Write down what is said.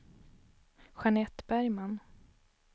Jeanette Bergman